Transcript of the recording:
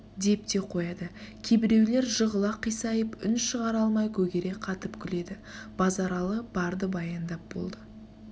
деп те қояды кейбіреулер жығыла қисайып үн шығара алмай көгере қатып күледі базаралы барды баяндап болды